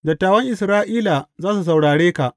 Dattawan Isra’ila za su saurare ka.